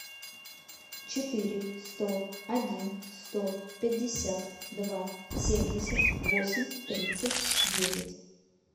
четыре сто один сто пятьдесят два семьдесят восемь тридцать девять